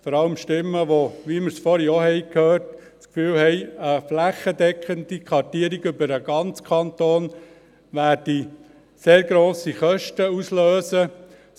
Vor allem sind es Stimmen, wie wir sie vorhin auch gehört haben, wonach eine flächendeckende Kartierung über den ganzen Kanton sehr grosse Kosten auslösen würden.